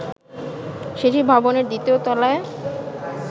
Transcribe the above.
সেটি ভবনের দ্বিতীয় তলায়